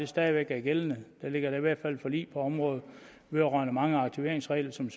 stadig væk er gældende der ligger i hvert fald forlig på området vedrørende mange af aktiveringsreglerne som